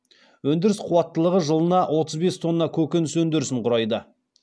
өндіріс қуаттылығы жылына отыз бес тонна көкөніс өндірісін құрайды